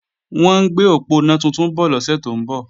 Wọ́n ń gbé òponá tuntun bọ̀ lọ́sẹ̀ tó ń bọ̀